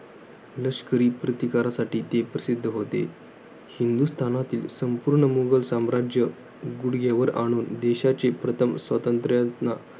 लष्करी प्रतिकारासाठी ते प्रसिद्ध होते. हिंदुस्थानातील संपूर्ण मुघल राज्य गुडघे वर आणून, देशाचे प्रथम स्वातंत्र्यांना